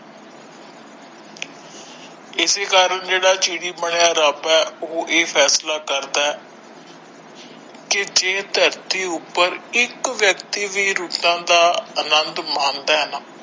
ਇਸੀ ਕਾਰਨ ਜਿਹੜਾ ਚਿੜੀ ਬਣਿਆ ਰੱਬ ਹੈ ਉਹ ਇਹ ਫੈਸਲਾ ਕਰਦਾ ਹੈ ਕੀ ਜੇ ਧਰਤੀ ਉੱਪਰ ਇੱਕ ਵਿਅਕਤੀ ਵੀ ਰੁੱਤਾਂ ਦਾ ਅਨੰਦ ਮਾਣਦਾ ਹੈ ਨਾ।